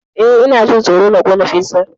Eh, Ina jin tsoro na kona fizar.